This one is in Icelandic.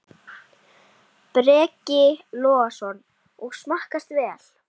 Breki Logason: Og smakkast vel?